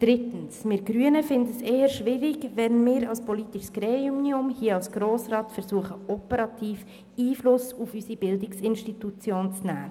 Drittens finden wir Grünen es eher schwierig, wenn wir als politisches Gremium versuchen, Einfluss auf den operativen Bereich unserer Bildungsinstitutionen zu nehmen.